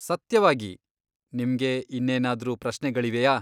ಸತ್ಯವಾಗಿ! ನಿಮ್ಗೆ ಇನ್ನೇನಾದ್ರೂ ಪ್ರಶ್ನೆಗಳಿವೆಯಾ?